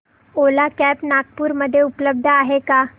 ओला cabs Nagpur मध्ये उपलब्ध आहे का